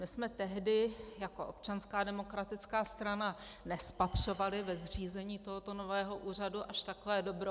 My jsme tehdy jako Občanská demokratická strana nespatřovali ve zřízení tohoto nového úřadu až takové dobro.